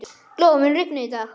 Glóa, mun rigna í dag?